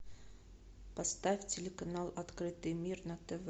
поставь телеканал открытый мир на тв